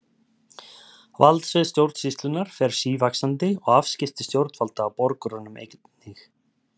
Valdsvið stjórnsýslunnar fer sívaxandi og afskipti stjórnvalda af borgurunum einnig.